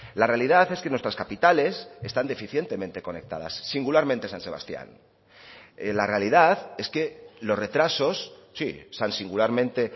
la realidad es que nuestras capitales están deficientemente conectadas singularmente san sebastián la realidad es que los retrasos sí san singularmente